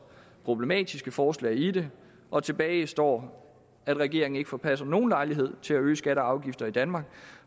problematiske forslag i det og tilbage står at regeringen ikke forpasser nogen lejlighed til at øge skatter og afgifter i danmark